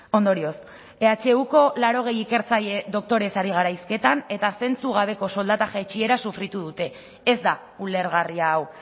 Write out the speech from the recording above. ondorioz ehuko laurogei ikertzaile doktorez ari gara hizketan eta zentzugabeko soldata jaitsiera sufritu dute ez da ulergarria hau